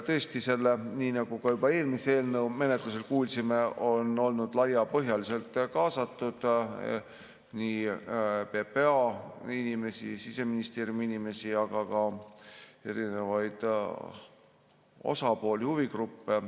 Tõesti, nii nagu ka eelmise eelnõu menetlemisel kuulsime, sellesse on olnud laiapõhjaliselt kaasatud nii PPA inimesi, Siseministeeriumi inimesi, aga ka erinevaid osapooli, huvigruppe.